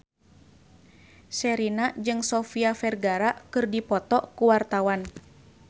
Sherina jeung Sofia Vergara keur dipoto ku wartawan